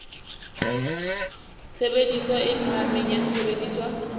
tshebediso e phahameng ya sesebediswa